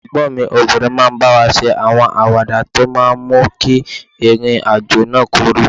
Ẹ̀gbọ́n mi obìnrin máa ń bá wa ṣe àwọn àwàdà tó máa ń mú kí ìrìn àjò náà kúrú